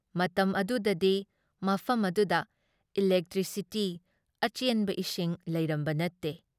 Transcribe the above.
ꯃꯇꯝ ꯑꯗꯨꯗꯗꯤ ꯃꯐꯝ ꯑꯗꯨꯗ ꯏꯂꯦꯛꯇ꯭ꯔꯤꯁꯤꯇꯤ, ꯑꯆꯦꯟꯕ ꯏꯁꯤꯡ ꯂꯩꯔꯝꯕ ꯅꯠꯇꯦ ꯫